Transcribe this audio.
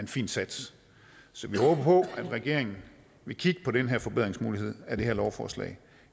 fin sats vi håber på at regeringen vil kigge på den her forbedringsmulighed af det her lovforslag